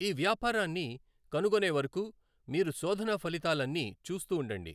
ఆ వ్యాపారాన్ని కనుగొనే వరకు మీరు శోధన ఫలితాలన్నీ చూస్తూ ఉండండి.